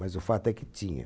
Mas o fato é que tinha.